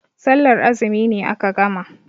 Sallar azumi ne aka gama.